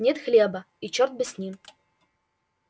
нет хлеба и чёрт бы с ним